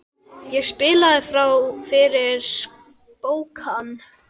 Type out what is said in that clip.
Ég spilaði fyrir spóann.